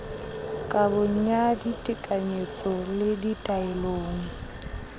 kabong ya ditekanyetso le ditaelong